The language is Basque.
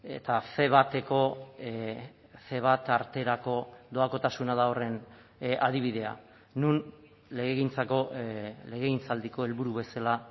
eta ce bateko ce bat arterako doakotasuna da horren adibidea non legegintzako legegintzaldiko helburu bezala